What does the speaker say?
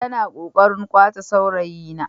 Tana kokarin kwace saurayina.